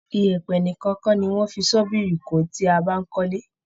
ìyẹ̀pẹ̀ nìkan kọ ni wón ń fi ṣọ́bìrì kó tí a bá ń kó ilé.